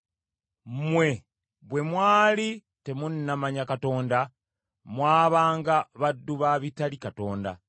Mmwe bwe mwali temunnamanya Katonda mwabanga baddu ba bitali Katonda.